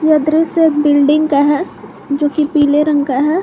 यह दृश्य एक बिल्डिंग का है जो की पीले रंग का है।